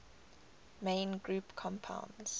main group compounds